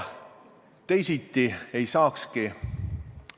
Teisiti me käituda ei saakski.